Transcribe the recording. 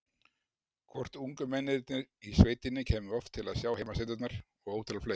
Hvort ungu mennirnir í sveitinni kæmu oft til að sjá heimasæturnar og ótal fleira.